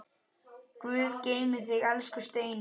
Guð geymi þig, elsku Steini.